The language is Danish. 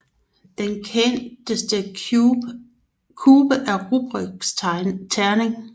Den kendteste cube er Rubiks terning